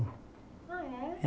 Ah, é?